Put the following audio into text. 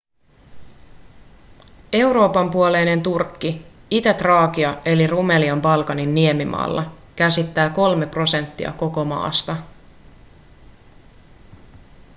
euroopan puoleinen turkki itä-traakia eli rumelia balkanin niemimaalla käsittää 3 prosenttia koko maasta